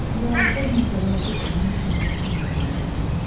Və əsas məsələ o idi ki, mən bu gün Coşqununla danışdım.